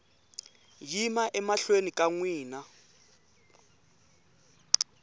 yima emahlweni ka n wina